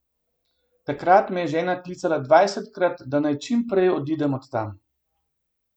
Takrat me je žena klicala dvajsetkrat, da naj čim prej odidem od tam.